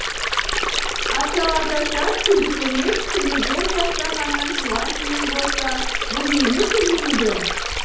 асаталасат күлдікөмеш күлегеш аждаһаның туған жиені болса бұл неге күлмейді